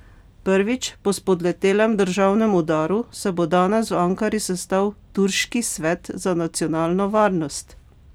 Prvič po spodletelem državnem udaru se bo danes v Ankari sestal turški svet za nacionalno varnost.